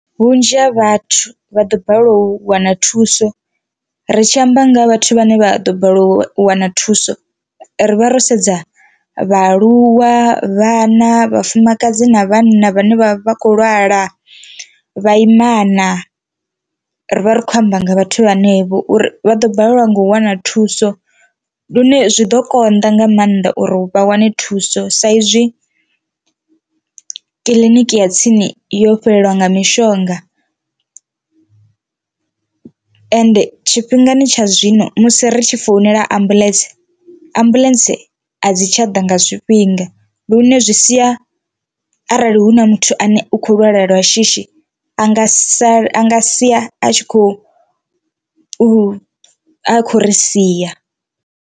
Vhunzhi ha vhathu vha ḓo balelwa u wana thuso ri tshi amba nga ha vhathu vhane vha ḓo balelwa u wana thuso ri vha ro sedza vhaaluwa, vhana, vhafumakadzi na vhanna vhane vha vha khou lwala vhaimana ri vha ri khou amba nga vhathu vhenevho uri vha ḓo balelwa nga u wana thuso, lune zwi ḓo konḓa nga maanḓa uri vha wane thuso sa izwi kiḽiniki ya tsini yo fhelelwa nga mishonga ende tshifhingani tsha zwino musi ri tshi founela ambuḽentse ambuḽentse a dzi tsha ḓa nga zwifhinga lune zwi sia arali hu na muthu ane u kho lwala lwa shishi anga sala anga sia a tshi kho u a kho ri sia.